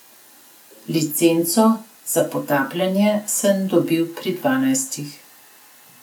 Licenco za potapljanje sem dobil pri dvanajstih.